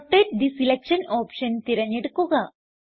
rotate the selection option തിരഞ്ഞെടുക്കുക